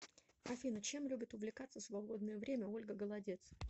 афина чем любит увлекаться в свободное время ольга голодец